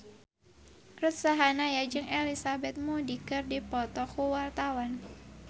Ruth Sahanaya jeung Elizabeth Moody keur dipoto ku wartawan